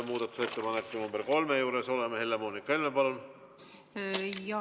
Helle-Moonika Helme, palun!